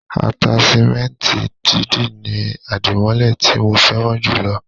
Ataṣimẹnti dídì ni adimọlẹ ti mo fẹràn jù lọ.